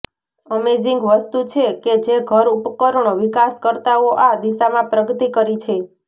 amazing વસ્તુ છે કે જે ઘર ઉપકરણો વિકાસકર્તાઓ આ દિશામાં પ્રગતિ કરી છે